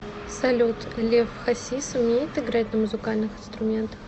салют лев хасис умеет играть на музыкальных инструментах